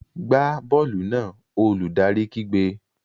Gbá bọ́ọ̀lù náà! Olùdarí kígbe.